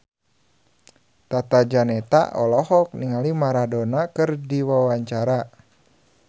Tata Janeta olohok ningali Maradona keur diwawancara